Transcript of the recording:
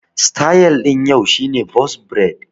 Sityl ɗin yau shi ne bos braid